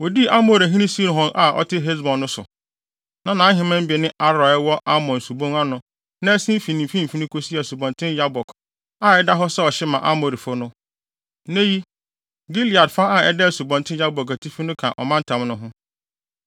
Wodii Amorihene Sihon a na ɔte Hesbon no so. Na nʼaheman bi ne Aroer a ɛwɔ Arnon Subon ano na ɛsen fi ne mfimfini kosi Asubɔnten Yabok a ɛda hɔ sɛ ɔhye ma Amorifo no. Nnɛ yi, Gilead fa a ɛda Asubɔnten Yabok atifi no ka ɔmantam no ho.